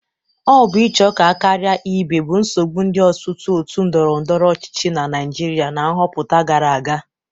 Ọ bụ ịcho ka a karia ibe bụ nsogbụ ndị ọtụtụ otu ndọrọndọrọ ọchịchị na Naịjịrịa na nghọpụta gara aga.